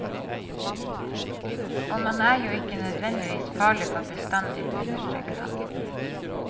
Og man er jo ikke nødvendigvis farlig for bestandig, understreker han.